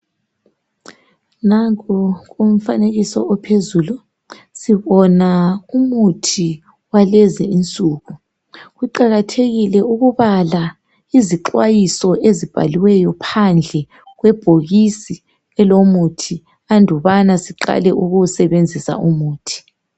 Nanku umfanekiso ophezulu, sibona umuthi wakulezinsuku. Kuqakathekile ukubala izixwayiso ezibhaliweyo phandle kwebhokisi elomuthi andubana siqale kuwusebenzisa umuthi.